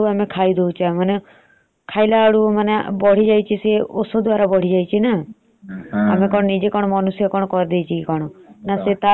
ସେ ଜିନିଷ କୁ ଆମେ ଖାଇଦଉଛେ ମାନେ ଖାଇଲା ବେଳକୁ ବଢିଯାଇଥିବା ଔଷଧ ଦ୍ୱାରା ବଢିଯାଇଛିନା ନ ମଣିଷ କରିଦେଇଛି ନା କଣ। ସେ ତାର ଦଶ ଦିନରେ ହବାର କଥା ସେ ଚାରି ଦିନରେ ହେଇଯାଉଛି ବୋଲେ ଆମେ ଜାଣିବା କଥା ସେ ଜିନିଷ